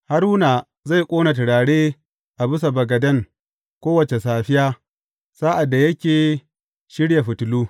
Haruna zai ƙone turare a bisa bagaden kowace safiya, sa’ad da yake shirya fitilu.